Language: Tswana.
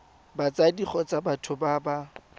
batsadi kgotsa batho ba ba